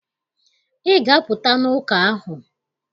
Ị ga-apụta n'ụka ahụ!